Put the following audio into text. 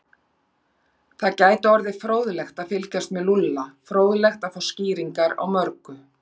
Það gæti orðið fróðlegt að fylgjast með Lúlla, fróðlegt að fá skýringar á mörgu.